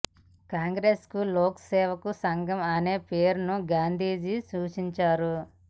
కాంగ్రెస్ కు లోక్ సేవక్ సంఘ్ అనే పేరును గాంధీజీ సూచించారు